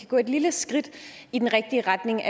gå et lille skridt i den rigtige retning